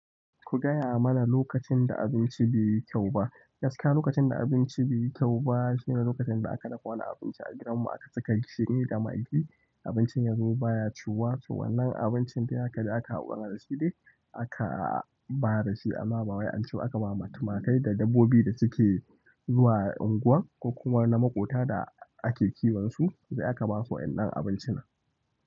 Ku gaya mana lokacin da abinci be yi kyau ba. Gaskiya lokacin da abinci bai yi kyau ba shine lokacin da aka dafa wani abinci a gidan mu aka saka gishiri da maggi abincin ya zo baya ciwuwa to wannan abincin da aka ji aka haɗu da shi aka ba da shi amma ba waya an ciba aka bama tumakai da dabbobi da suke zuwa unguwan ko kuma wani na maƙota da ake kiwon su sai aka basu waɗannan abincin.